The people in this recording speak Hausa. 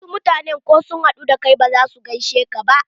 Wasu mutanen ko sun haɗu da kai ba za su gaishe ka ba.